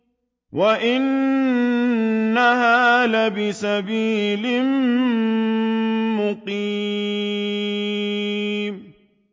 وَإِنَّهَا لَبِسَبِيلٍ مُّقِيمٍ